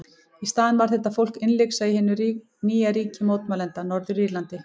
Í staðinn var þetta fólk innlyksa í hinu nýja ríki mótmælenda, Norður-Írlandi.